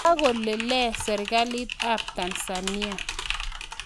kakole lee serikalit ap Tanzania?